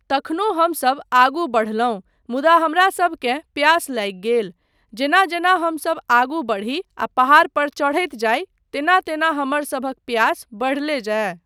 तखनो हमसब आगू बढ़लहुँ मुदा हमरासबकेँ प्यास लागि गेल, जेना जेना हमसब आगू बढ़ी आ पहाड़ पर चढ़ैत जाइ तेना तेना हमरसभक पियास बढ़ले जाय।